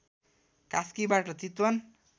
कास्कीबाट Chitwan